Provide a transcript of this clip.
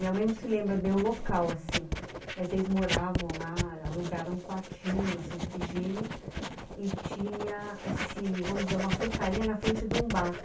Minha mãe não se lembra bem o local assim, mas eles moravam lá, alugaram um quartinho na Santa Efigênia e tinha esse, vamos dizer, uma frutaria na frente de um bar.